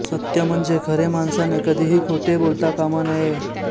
सत्य म्हणजे खरे माणसाने कधीही खोटे बोलता कामा नये